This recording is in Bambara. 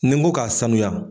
Ni n ko k'a sanuya